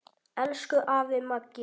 Elsku afi Maggi.